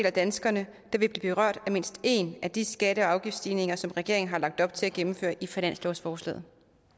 af danskerne der vil blive berørt af mindst én af de skatte og afgiftsstigninger som regeringen har lagt op til at gennemføre i finanslovsforslaget